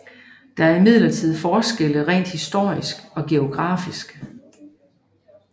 Der er imidlertid forskelle rent historisk og geografisk